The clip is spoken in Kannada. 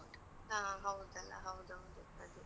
ಹಾ ಹೌದಲ್ಲ, ಹೌದೌದು ಅದೇ.